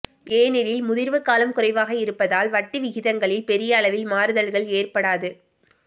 ஏனெனில் முதிர்வு காலம் குறைவாக இருப்பதால் வட்டி விகிதங்களில் பெரிய அளவில் மாறுதல்கள் ஏற்படாது